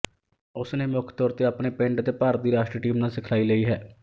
ਉਸਨੇ ਮੁੱਖ ਤੌਰ ਤੇ ਆਪਣੇ ਪਿੰਡ ਅਤੇ ਭਾਰਤ ਦੀ ਰਾਸ਼ਟਰੀ ਟੀਮ ਨਾਲ ਸਿਖਲਾਈ ਲਈ ਹੈ